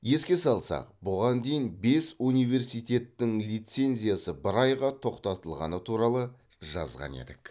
еске салсақ бұған дейін бес университеттің лицензиясы бір айға тоқтатылғаны туралы жазған едік